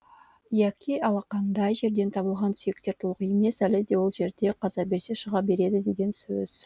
яки алақандай жерден табылған сүйектер толық емес әлі де ол жерді қаза берсе шыға береді деген сөз